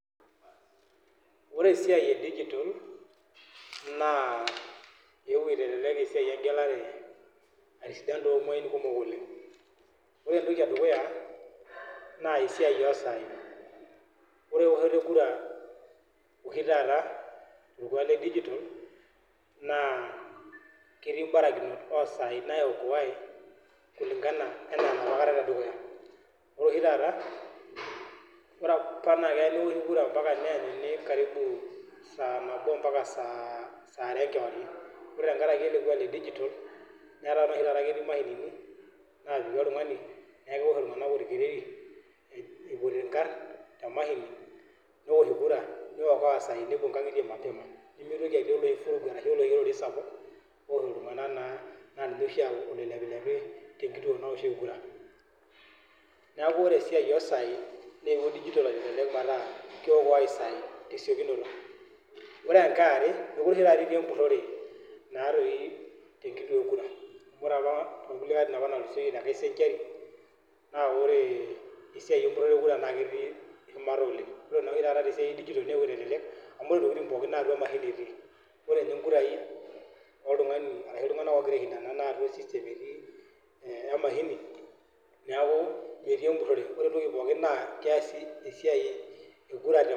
Oree esiai ee digital naa eewuo aitalelek esiai engelare atasidan too mwai kumok oleng' oree entoki edukuya naa esiai oo saii ore iwoshot ee kura oshii taata toorkuak le digital naa ketii imbarakinot oo saai naiokoae kulingana enaa enapa kata tedukuya ore oshi taata ore apa naa kea newoshi kura naa mpaka neanyuni karibu saa naboo mpaka SAA are enkewarie oree tenkaraki ele kuak le digital netaa oshii tataa ketiu imashinini nejaki oltung'ani naa kewosh iltung'anak orkereri eipoti inkarn temashini newosh kura neiokoa isaai nepuo inkang'itie mapema nemeitoki atii oloshi kereri sapuk owoosh iltung'anak oota oloipilepi teenkituo naoshieki kura neeku oree esiai oo saai newuo digital aitalelek pee eyasi tesiokinoto, ore enkae oree taata etii empurore naa toi te kituo ee kura oree apa too nkulie atitin apa naatulusoitie naa ore esiai empurore EE kura naa ketii shumata oleng' oree naa oshi tata tee siai ee digital naa eyewuo aitalelek amu oree intokiting' pookin naa atua emashini etii oree nye inkurai oltung'ani arashu iltung'anak oogira aishintana naa atua ee system etii emashini neeku metii empurore nekuu empurore pookin naa keasi esiai ee kura te